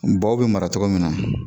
Bɔw bɛ mara cogo min na